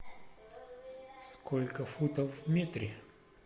сколько футов в метре